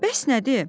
Bəs nədir?